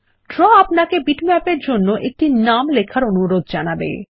draw আপনাকে bitmap এর জন্য একটি নাম লেখার অনুরোধ জানাবে